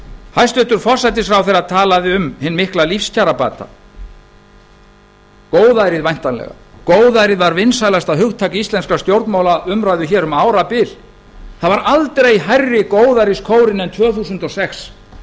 hæstvirtur forsætisráðherra talaði um hinn mikla lífskjarabata góðærið væntanlega góðærið var vinsælasta hugtak íslenskrar stjórnmálaumræðu hér um árabil það var aldrei hærri góðæriskórinn en tvö þúsund og sex